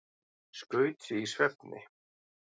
Skaut sig í svefni